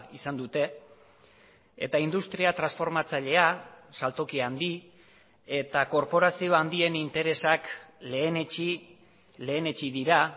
izan dute eta industria transformatzailea saltoki handi eta korporazio handien interesak lehenetsi lehenetsi dira